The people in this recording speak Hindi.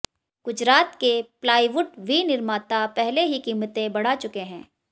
गुजरात के प्लाईवुड विनिर्माता पहले ही कीमतें बढ़ा चुके हैं